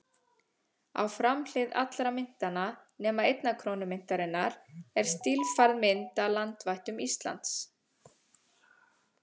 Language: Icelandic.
Á framhlið allra myntanna, nema einnar krónu myntarinnar, er stílfærð mynd af landvættum Íslands.